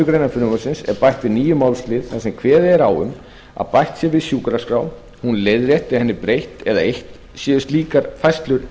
grein frumvarpsins er bætt við nýjum málslið þar sem kveðið er á um að bætt sé við sjúkraskrám hún leiðrétt eða henni breytt eða eytt séu slíkar færslur